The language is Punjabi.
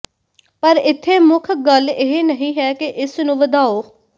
ਪਰ ਇੱਥੇ ਮੁੱਖ ਗੱਲ ਇਹ ਨਹੀਂ ਹੈ ਕਿ ਇਸ ਨੂੰ ਵਧਾਓ